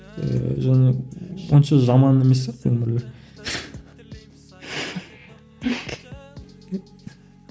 ііі және онша жаман емес сияқты өмірлері